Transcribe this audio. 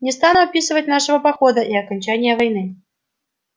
не стану описывать нашего похода и окончания войны